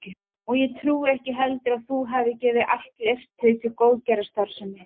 Og ég trúi ekki heldur að þú hafir gefið allt leirtauið til góðgerðarstarfsemi